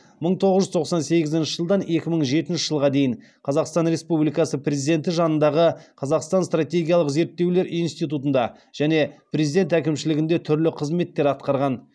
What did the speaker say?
мың тоғыз жүз тоқсан сегізінші жылдан екі мың жетінші жылға дейін қазақстан республикасы президенті жанындағы қазақстан стратегиялық зерттеулер институтында және президент әкімшілігінде түрлі қызметтер атқарған